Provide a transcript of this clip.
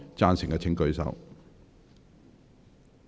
贊成的請舉手。